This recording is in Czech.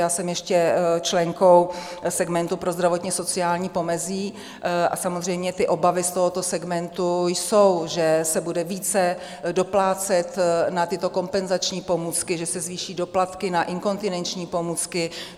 Já jsem ještě členkou segmentu pro zdravotně-sociální pomezí - a samozřejmě ty obavy z tohoto segmentu jsou, že se bude více doplácet na tyto kompenzační pomůcky, že se zvýší doplatky na inkontinenční pomůcky.